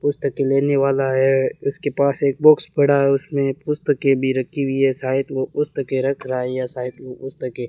पुस्तकें लेने वाला है उसके पास एक बॉक्स पड़ा है उसमें पुस्तके भी रखी हुई है शायद वो पुस्तके रख रहा है या शायद वो पुस्तकें --